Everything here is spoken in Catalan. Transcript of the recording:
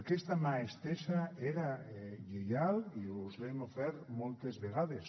aquesta mà estesa era lleial i us l’hem ofert moltes vegades